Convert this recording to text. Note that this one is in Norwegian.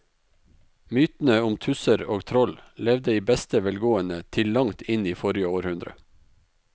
Mytene om tusser og troll levde i beste velgående til langt inn i forrige århundre.